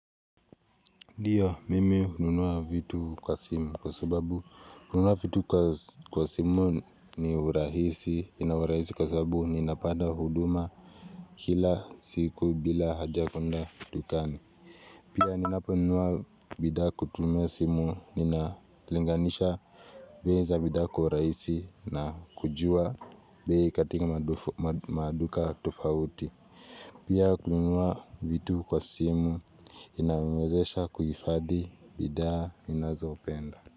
Ndiyo mimi hununua vitu kwa simu kwa sababu, kununua vitu kwa simu ni urahisi, ina urahisi kwa sababu ninapada huduma kila siku bila haja kwenda dukani. Pia ninapo nunua bidha kutumia simu, ninalinganisha, weza bidha kwa urahisi na kujua, bei katika maduka tufauti. Inazopenda.